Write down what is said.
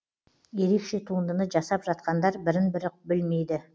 ерекше туындыны жасап жатқандар бірін бірі білмейді